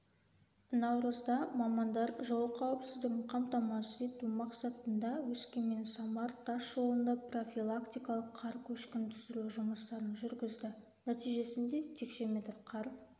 наурызда мамандар жол қауіпсіздігін қамтамасыз ету мақсатында өскеменсамар тас жолында профилактикалық қар көшкінін түсіру жұмыстарын жүргізді нәтижесінде текше метр қар